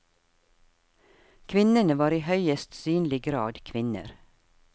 Kvinnene var i høyest synlig grad kvinner.